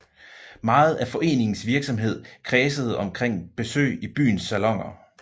Meget af foreningens virksomhed kredsede omkring besøg i byens saloner